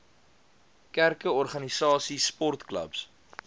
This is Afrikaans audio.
kerke organisasies sportklubs